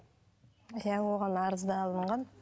иә оған арыздалынған